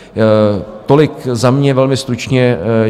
Tolik za mě velmi stručně.